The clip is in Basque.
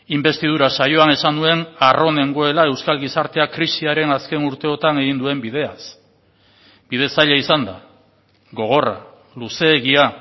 inbestidura saioan esan nuen harro nengoela euskal gizarteak krisiaren azken urteotan egin duen bideaz bide zaila izan da gogorra luzeegia